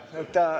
Selge.